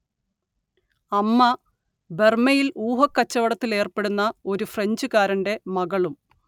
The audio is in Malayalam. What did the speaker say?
അമ്മ ബർമ്മയിൽ ഊഹക്കച്ചവടത്തിലേർപ്പെടുന്ന ഒരു ഫ്രഞ്ചുകാരന്റെ മകളും